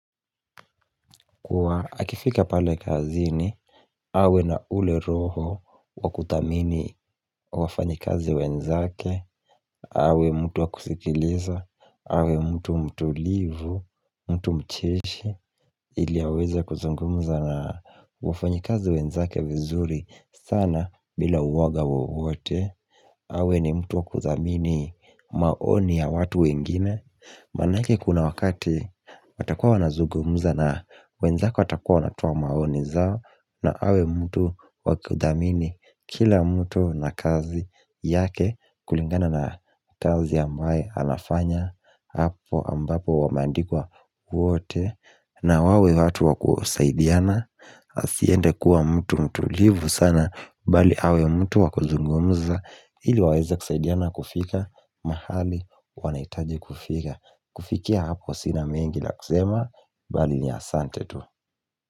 Kwa akifika pale kazini, awe na ule roho wa kudhamini wafanyikazi wenzake, awe mtu wa kusikiliza, awe mtu mtulivu, mtu mcheshi, ili aweze kuzungumuza na wafanyikazi wenzake vizuri sana bila woga wowote. Awe ni mtu wa kudhamini maoni ya watu wengine Maanake kuna wakati watakuwa wanazungumuza na wenzako watakuwa wanatoa maoni zao. Na awe mtu wa kudhamini kila mtu na kazi yake kulingana na kazi ambaye anafanya hapo ambapo wameandikwa wote na wawe watu wa kusaidiana. Asiende kuwa mtu mtulivu sana bali awe mtu wa kuzungumuza ili waweze kusaidiana kufika mahali wanahitaji kufika. Kufikia hapo sina mengi la kusema bali ni asante tu.